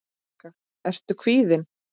Helga: Ertu kvíðinn?